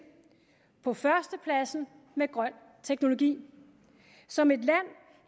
på førstepladsen med grøn teknologi som et land